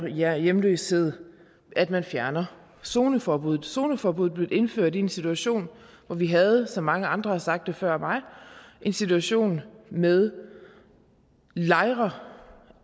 hjemløsheden at man fjerner zoneforbuddet zoneforbuddet blev indført i en situation hvor vi havde som mange andre har sagt før mig en situation med lejre